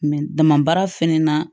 dama baara fɛnɛ na